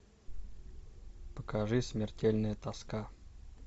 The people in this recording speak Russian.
покажи смертельная тоска